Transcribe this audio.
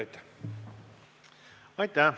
Aitäh!